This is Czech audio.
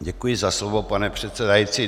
Děkuji za slovo, pane předsedající.